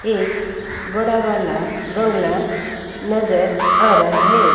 एक बड़ा वाला बंगला नजर आ रहा है।